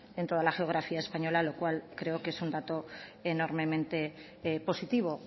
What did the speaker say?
en toda la geografía española lo cual creo que es un dato enormemente positivo